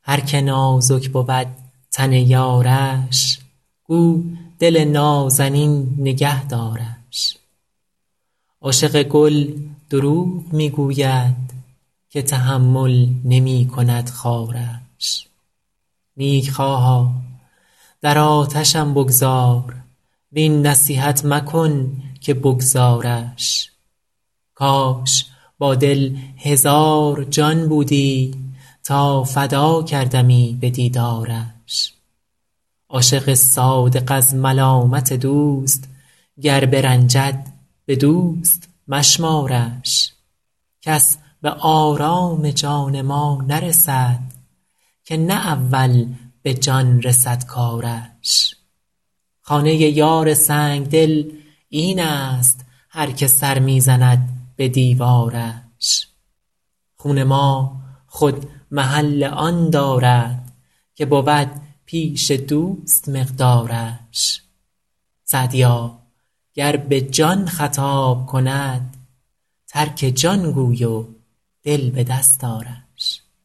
هر که نازک بود تن یارش گو دل نازنین نگه دارش عاشق گل دروغ می گوید که تحمل نمی کند خارش نیکخواها در آتشم بگذار وین نصیحت مکن که بگذارش کاش با دل هزار جان بودی تا فدا کردمی به دیدارش عاشق صادق از ملامت دوست گر برنجد به دوست مشمارش کس به آرام جان ما نرسد که نه اول به جان رسد کارش خانه یار سنگدل این است هر که سر می زند به دیوارش خون ما خود محل آن دارد که بود پیش دوست مقدارش سعدیا گر به جان خطاب کند ترک جان گوی و دل به دست آرش